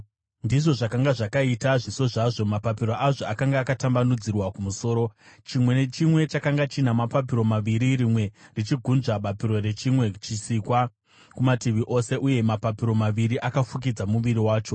Ndizvo zvakanga zvakaita zviso zvazvo. Mapapiro azvo akanga akatambanudzirwa kumusoro; chimwe nechimwe chakanga china mapapiro maviri rimwe richigunzva bapiro rechimwe chisikwa kumativi ose, uye mapapiro maviri akafukidza muviri wacho.